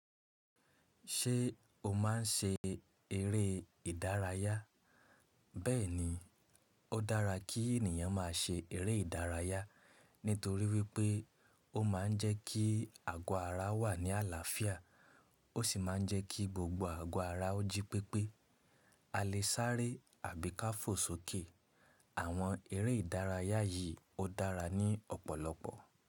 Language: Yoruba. Ṣé o máa ń ṣe eré ìdárayá? Bẹ́ẹ̀ni, ó dára kí ènìyàn máa ṣe eré ìdárayá nítorí wípé ó máa ń jẹ́ kí àgọ́ ara wà ní àlàáfíà ó sì máa ń jẹ́ kí gbogbo àgọ́ ara ó jí pépé. A lè sáré àbí ká fò sókè. Àwọn eré ìdárayá yìí ó dára ní ọ̀pọ̀lọpọ̀.